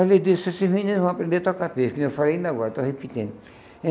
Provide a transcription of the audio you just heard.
Aí ele disse, esses meninos vão aprender a tocar pife, que nem eu falei ainda agora, estou repetindo.